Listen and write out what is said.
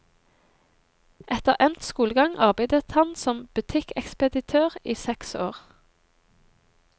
Etter endt skolegang arbeidet han som butikkekspeditør i seks år.